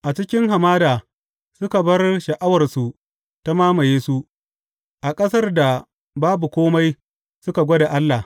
A cikin hamada suka bar sha’awarsu ta mamaye su a ƙasar da babu kome suka gwada Allah.